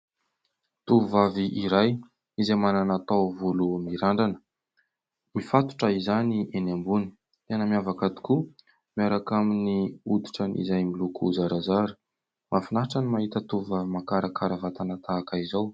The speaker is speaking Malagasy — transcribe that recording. Tovovavy iray izay manana taovolo mirandrana. Mifatotra izany eny ambony. Tena miavaka tokoa, miaraka amin'ny hoditra izany miloko zarazara. Mahafinaritra ny mahita tovovavy mahakarakara vatana tahaka izao.